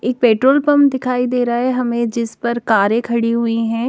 एक petrol pump दिखाई देरा है हमे जिस पर कारे खड़ी हुई है।